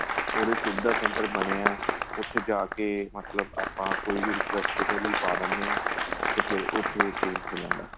ਉਹਦੇ ਸੁਵਿਧਾ center ਬਣੇ ਹਾਂ ਉਥੇ ਜਾਕੇ ਮਤਲਬ ਆਪਾਂ ਕੋਈ ਵੀ request ਇਹਦੇ ਲਈ ਪਾਹ ਦਿੰਨੇ ਹਾਂ ਤੇ ਫ਼ੇਰ ਉਥੇ ਏ change ਹੋ ਜਾਂਦਾ